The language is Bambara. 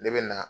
Ne bɛ na